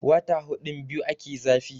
wata hudun biyu ake zafi